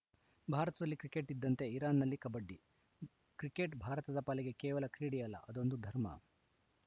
ಭಾರತದಲ್ಲಿ ಕ್ರಿಕೆಟ್‌ ಇದ್ದಂತೆ ಇರಾನ್‌ನಲ್ಲಿ ಕಬಡ್ಡಿ ಕ್ರಿಕೆಟ್‌ ಭಾರತದ ಪಾಲಿಗೆ ಕೇವಲ ಕ್ರೀಡೆಯಲ್ಲ ಅದೊಂದು ಧರ್ಮ